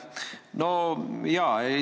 Aitäh!